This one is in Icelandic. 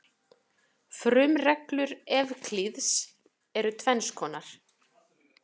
Frumreglur Evklíðs eru tvenns konar.